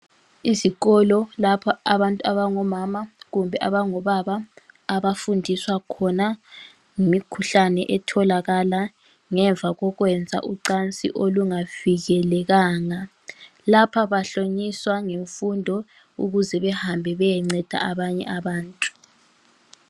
Izikolo lapha abantu abangomama kumbe abangobaba abafundiswa khona ngemikhuhlane etholakala ngemva kokwenza ucansi olungavikelekanga, lapha bahlonyiswa ngemfundo ukuze behambe beyenceda abanye abantu.